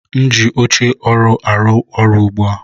M ji oche ọrụ arụ ọrụ ugbu a.